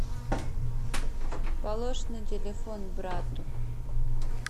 полож на телефон брату